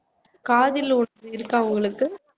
காதல் இருக்கா உங்களுக்கு